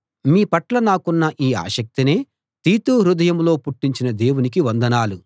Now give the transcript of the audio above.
మీ పట్ల నాకున్న ఈ ఆసక్తినే తీతు హృదయంలో పుట్టించిన దేవునికి వందనాలు